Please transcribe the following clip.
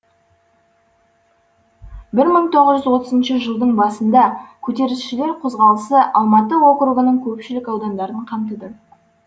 бір мың тоғыз отызыншы жылдың басында көтерілісшілер қозғалысы алматы округінің көпшілік аудандарын қамтыды